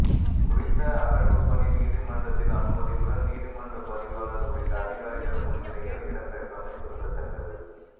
குறித்த அகழ்வுப்பணி நீதிமன்றத்தின் அனுமதியுடன் நீதிமன்ற பதிவாளர் உள்ளிட்ட அதிகாரிகள் முன்னிலையில் இடம்பெற்றமை குறிப்பிடத்தக்கது